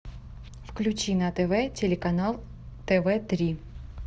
включи на тв телеканал тв три